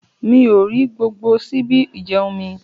Mi ò rí gbogbo ṣíbí ìjẹ̀un mí.